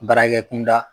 Baarakɛ kunda